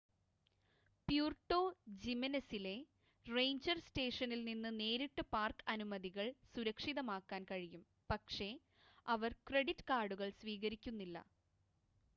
Puerto ജിമെനെസിലെ ranger സ്റ്റേഷനിൽ നിന്ന് നേരിട്ട് പാർക്ക് അനുമതികൾ സുരക്ഷിതമാക്കാൻ കഴിയും പക്ഷേ അവർ ക്രെഡിറ്റ് കാർഡുകൾ സ്വീകരിക്കുന്നില്ല